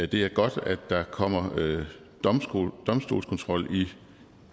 det er godt at der kommer domstolskontrol i